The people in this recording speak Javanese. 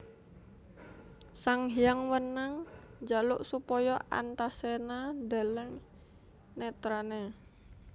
Sanghyang Wenang njaluk supaya Antaséna ndeleng netrané